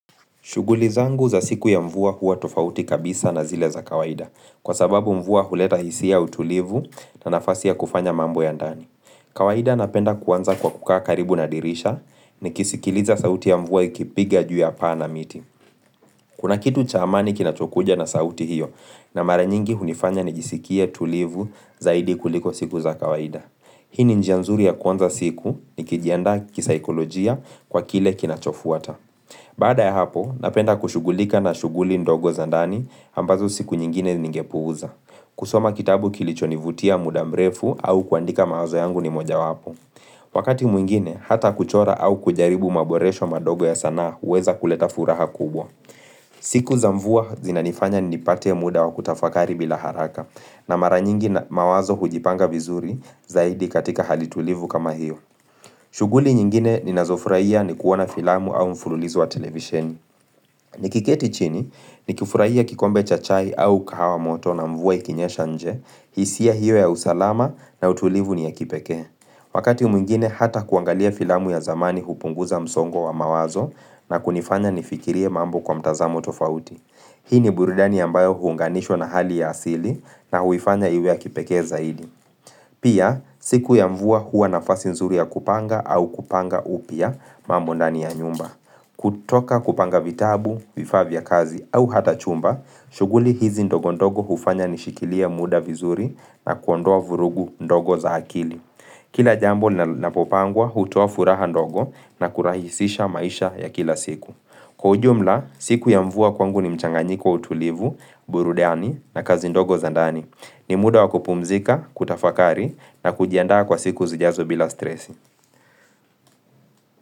Shuguli zangu za siku ya mvua huwa tofauti kabisa na zile za kawaida, kwa sababu mvua huleta hisia utulivu na nafasi ya kufanya mambo ya ndani. Kawaida napenda kuanza kwa kukaa karibu na dirisha ni kisikiliza sauti ya mvua ikipiga juu ya paa na miti. Kuna kitu cha amani kinachokuja na sauti hiyo na maranyingi hunifanya nijisikie tulivu zaidi kuliko siku za kawaida. Hii ni njia nzuri ya kuanza siku ni kijiandaa kisaikolojia kwa kile kinachofuata. Baada ya hapo, napenda kushugulika na shuguli ndogo za ndani ambazo siku nyingine nyingepuuza. Kusoma kitabu kilicho nivutia muda mrefu au kuandika mawazo yangu ni moja wapo. Wakati mwingine, hata kuchora au kujaribu maboresho madogo ya sanaa uweza kuleta furaha kubwa. Siku za mvua zina nifanya nipate muda wa kutafakari bila haraka na mara nyingi mawazo hujipanga vizuri zaidi katika halitulivu kama hiyo. Shuguli nyingine ni nazofuraia ni kuona filamu au mfululizo wa televisheni. Nikiketi chini, nikifuraia kikombe cha chai au kahawa moto na mvua ikinyesha nje, hisia hiyo ya usalama na utulivu ni ya kipeke. Wakati miingine hata kuangalia filamu ya zamani hupunguza msongo wa mawazo na kunifanya nifikirie mambo kwa mtazamo tofauti. Hii ni buridani ambayo huunganishwa na hali ya asili na huifanya iwe ya kipeke zaidi. Pia, siku ya mvua hua nafasi nzuri ya kupanga au kupanga upya mamondani ya nyumba. Kutoka kupanga vitabu, vifaa vya kazi au hata chumba, shuguli hizi ndogo ndogo hufanya nishikilie muda vizuri na kuondoa vurugu ndogo za hakili. Kila jambo ni napopangwa hutoa furaha ndogo na kurahisisha maisha ya kila siku. Kwa ujumla, siku ya mvua kwangu ni mchanganyiko wa utulivu, burudani na kazi ndogo zandani. Ni muda wa kupumzika, kutafakari na kujiandaa kwa siku zijazo bila stresi.